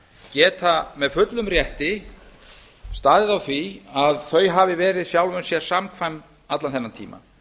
geta með fullum rétti staðið á því að þau hafi verið sjálfu sér samkvæm allan þennan tíma